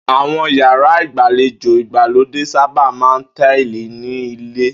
Àwo̩n yàrá ìgbàlejò ìgbàlódé sábà máa ń táìlì ní ilè̩